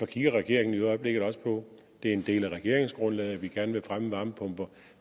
kigger regeringen i øjeblikket også på det er en del af regeringsgrundlaget at vi gerne vil fremme varmepumper